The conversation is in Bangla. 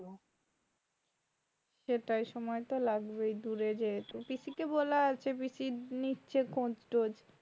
সেটাই সময় তো লাগবেই দূরে যেহেতু পিসিকে বলা আছে পিসি নিচ্ছে খোজ-টোজ